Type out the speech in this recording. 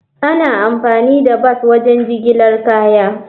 Ana amfani da bas wajen jigilar kaya.